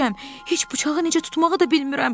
Heç bıçağı necə tutmağı da bilmirəm.